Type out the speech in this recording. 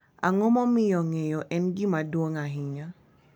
Ang’o momiyo ng’eyo en gima duong’ ahinya?